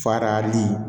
Farali